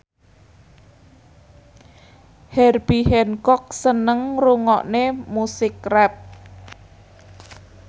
Herbie Hancock seneng ngrungokne musik rap